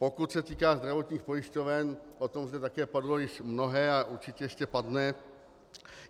Pokud se týká zdravotních pojišťoven, o tom zde také padlo již mnohé a určitě ještě padne.